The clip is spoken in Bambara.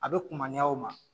A be kumaniɲa o ma